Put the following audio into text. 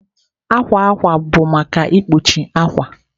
Akwa akwa bụ maka ikpuchi akwa